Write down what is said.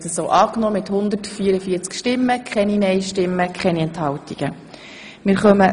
Sie haben die Aufhebung von Artikel 7 EGSchKG angenommen.